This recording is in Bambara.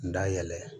N da yɛlɛ